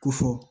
Ko fɔ